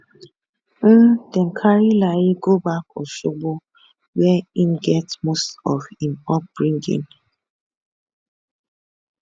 im dem carry layi go back osogbo wia im get most of im upbringing